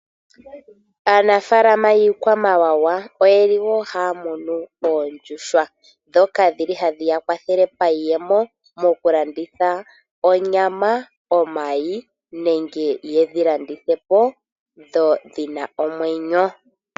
Aanafalama yi kwamawawa oyeli wo hamunu oondjuhwa, dhoka dhili hadhiyakwathele pa yiyemo mokulanditha onyama, omayi nenge yedhi landithapo dhina omwenyo.